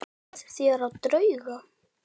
Trúið þér á drauga?